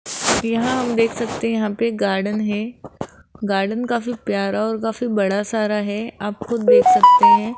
यहां हम देख सकते है यहां पे गार्डन है गार्डन काफी प्यारा और काफी बड़ा सारा है आप खुद देख सकते है।